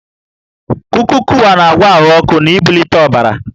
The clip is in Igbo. Kuka/Kuwa na-agwọ ahụ ọkụ na ibulite ọbara